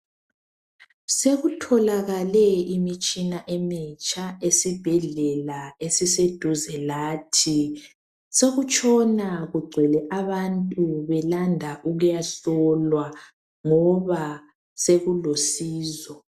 Sekutholakale imitshina emitsha esibhedlela esiseduze lathi. sokutshona kugcwele abantu belanda ukuyahlolwa ngoba sekulosizo.